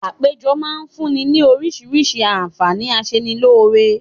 Àpéjọ máa fún ní ni oríṣiríṣi àǹfààní aṣenilóore